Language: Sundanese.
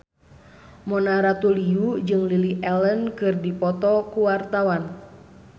Mona Ratuliu jeung Lily Allen keur dipoto ku wartawan